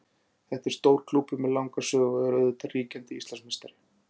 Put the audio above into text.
Þetta er stór klúbbur með langa sögu og er auðvitað ríkjandi Íslandsmeistari.